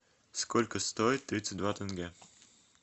сколько стоит тридцать два тенге